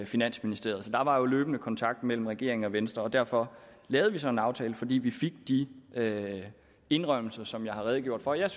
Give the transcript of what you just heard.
finansministeriet der var jo løbende kontakt mellem regeringen og venstre og derfor lavede vi så en aftale fordi vi fik de indrømmelser som jeg har redegjort for jeg